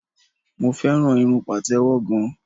Mo fẹ́ràn irun Pàtẹ́wọ́ gan.